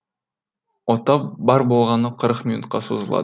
ота бар болғаны қырық минутқа созылады